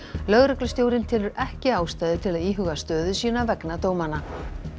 lögreglustjórinn telur ekki ástæðu til að íhuga stöðu sína vegna dómanna